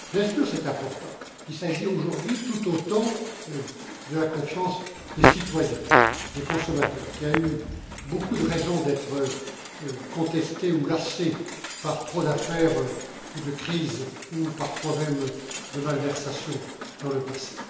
Bien sûr, c'est important, mais il s'agit aujourd'hui, tout autant, de la confiance des citoyens, des consommateurs, qui a eu beaucoup de raisons d'être contestée ou lassée par trop d'affaires ou de crises, parfois même de malversations dans le passé.